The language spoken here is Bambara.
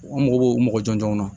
An mago b'o mɔgɔ jɔnjɔn na